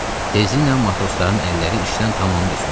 Tezliklə matrosların əlləri işdən tamamilə soyudu.